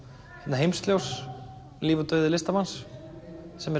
Heimsljós líf og dauði listamanns sem er